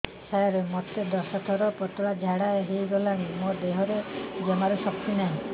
ସାର ମୋତେ ଦଶ ଥର ପତଳା ଝାଡା ହେଇଗଲାଣି ମୋ ଦେହରେ ଜମାରୁ ଶକ୍ତି ନାହିଁ